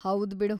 ಹೌದ್‌ ಬಿಡು!